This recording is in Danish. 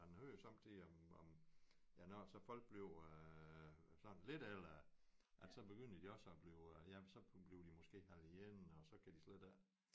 Men hører sommetider om om ja når så folk bliver sådan lidt ældre at så begynder de også at blive ja så bliver de måske alene og så kan de slet ikke